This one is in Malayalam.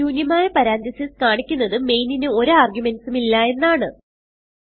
ശുന്യമായ പരന്തീസസ് കാണിക്കുന്നത് മെയിനിന് ഒരു ആർഗുമെന്റ്സ് ഉം ഇല്ല എന്നാണ്